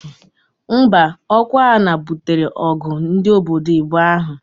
Mba, okwa ana butere ogu ndi obodo ibuo ahu.